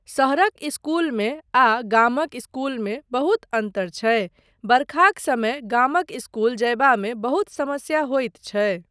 शहरक इस्कूलमे आ गामक इस्कूलमे बहुत अन्तर छै, बरखाक समय गामक स्कूल जयबामे बहुत समस्या होइत छै।